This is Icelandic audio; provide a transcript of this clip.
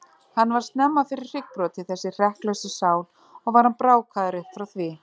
Hann varð snemma fyrir hryggbroti, þessi hrekklausa sál, og var hann brákaður upp frá því.